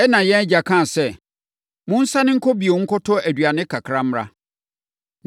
“Ɛnna yɛn agya kaa sɛ, ‘Monsane nkɔ bio nkɔtɔ aduane kakra mmra.’